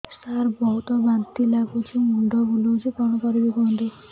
ସାର ବହୁତ ବାନ୍ତି ଲାଗୁଛି ମୁଣ୍ଡ ବୁଲୋଉଛି କଣ କରିବି କୁହନ୍ତୁ